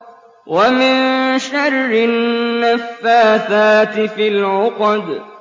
وَمِن شَرِّ النَّفَّاثَاتِ فِي الْعُقَدِ